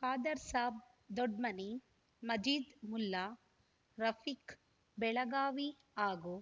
ಖಾದರ್‍ಸಾಬ್ ದೊಡ್ಮನಿ ಮಜೀದ್ ಮುಲ್ಲಾ ರಫೀಕ್ ಬೆಳಗಾವಿ ಹಾಗೂ